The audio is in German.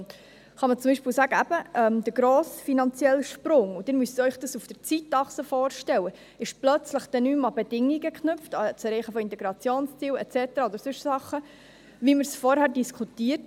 Man kann zum Beispiel sagen, dass der grosse finanzielle Sprung – Sie müssen sich dies auf der Zeitachse vorstellen – plötzlich nicht mehr an Bedingungen geknüpft ist wie das Erreichen des Integrationsziels und so weiter oder an sonstige Sachen, wie wir dies vorher diskutierten.